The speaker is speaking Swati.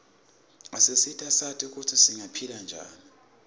asisita sati kutsi singaphila njani